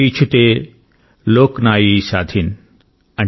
కిఛుతే లోక్ నాయ్శాధీన్||